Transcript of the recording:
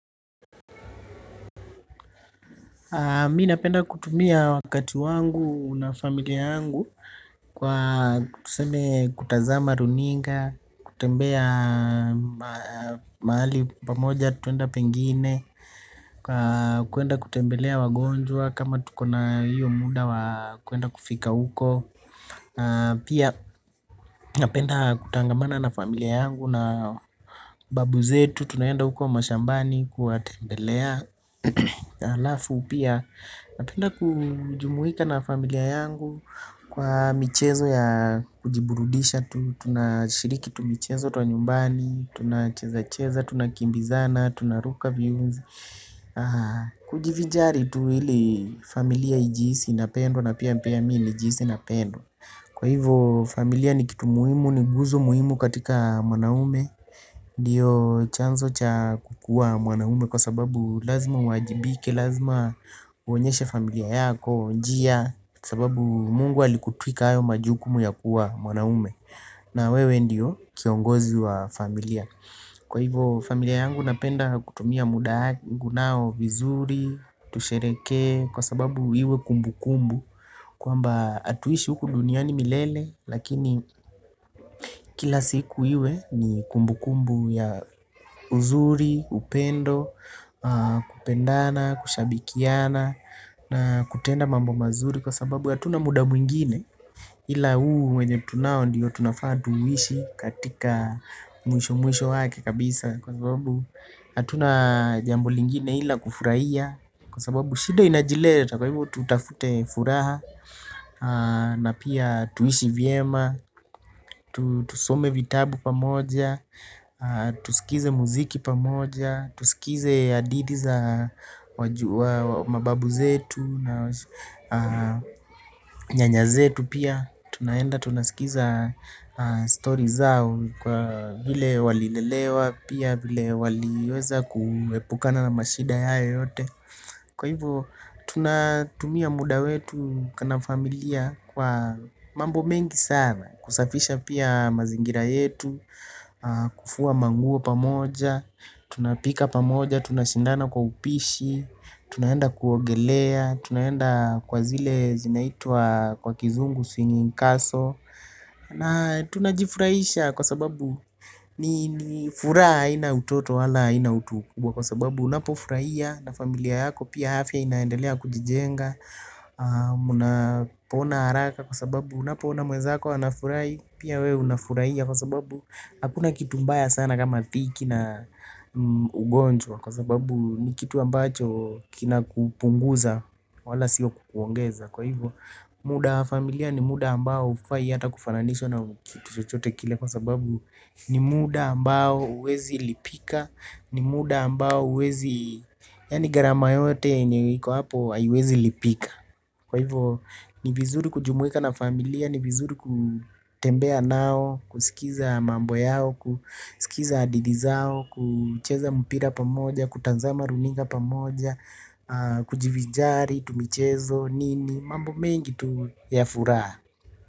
Mi napenda kutumia wakati wangu na familia yangu kwa tuseme kutazama runinga, kutembea maali pamoja tuende pengine, kuenda kutembelea wagonjwa kama tuko na hiyo muda wa kwenda kufika huko. Pia napenda kutangamana na familia yangu. Na babu zetu tunaenda uko mashambani Kuwatembelea Alafu pia napenda kujumuhika na familia yangu. Kwa michezo ya kujiburudisha tu tunashiriki tu michezo tuanyumbani. Tunacheza cheza. Tunakimbizana. Tunaruka viunzi. Kujivijari tu ili familia ijiisi inapendwo. Na pia mimi nijiisi napendwa. Kwa hivyo familia ni kitu muhimu, ni guzo muhimu katika mwanaume. Ndiyo chanzo cha kukuwa mwanaume kwa sababu lazima uwajibike, lazima uonyeshe familia yako, njia sababu mungu alikutuika ayo majukumu ya kuwa mwanaume na wewe ndio kiongozi wa familia kwa ivo familia yangu napenda kutumia muda wangu nao vizuri tushereheke kwa sababu hivo kumbukumbu kwamba atuishi huku duniani milele. Lakini kila siku iwe ni kumbu kumbu ya uzuri, upendo. Kupendana, kushabikiana na kutenda mambo mazuri. Kwa sababu hatuna muda mwingine. Hila huu wenye tunao ndiyo tunafaa tuuishi katika mwisho mwisho wake kabisa. Kwa sababu hatuna jambo lingine ila kufurahia. Kwa sababu shida inajileta kwa hivo tutafute furaha na pia tuishi vyema, tusome vitabu pamoja, tusikize muziki pamoja, tusikize hadithi za mababu zetu na nyanya zetu pia. Tunaenda tunasikiza storii zao kwa vile wali lelewa. Pia vile waliweza kuepukana na mashida hayo yote. Kwa hivo tuna tumia muda wetu na familia kwa mambo mengi sana kusafisha pia mazingira yetu. Kufua manguo pamoja. Tunapika pamoja, tunashindana kwa upishi. Tunaenda kuogelea. Tunaenda kwa zile zinaitwa kwa kizungu singing castle. Na tunajifurahisha kwa sababu ni furaa aina utoto wala aina utukubwa. Kwa sababu unapofurahia na familia yako. Pia afya inaendelea kujijenga. Unapona haraka kwa sababu unapoona mwezako anafurahi. Pia wewe unafurahia kwa sababu hakuna kitu mbaya sana kama dhiki na ugonjwa. Kwa sababu ni kitu ambacho kina kupunguza wala siyo kukuongeza. Kwa hivyo muda wa familia ni muda ambao ufai yata kufananishwa na kitu chochote kile. Kwa sababu ni muda ambao uwezi lipika. Ni muda ambao uwezi yani garama yote enye iko hapo aiwezi lipika. Kwa hivyo ni vizuri kujumweka na familia ni vizuri kutembea nao. Kusikiza mambo yao, kusikiza hadithi zao, kucheza mpira pamoja, kutanzama runinga pamoja. Kujivijari, tumichezo, nini, mambo mengi tu ya furaha.